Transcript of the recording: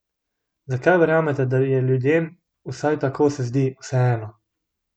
Zakaj verjamete, da je ljudem, vsaj tako se zdi, vseeno?